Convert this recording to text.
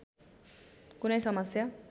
कुनै समस्या